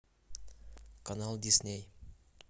канал дисней